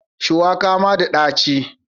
Shuwaka ma da dachi.